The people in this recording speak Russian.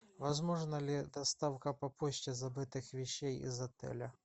возможна ли доставка по почте забытых вещей из отеля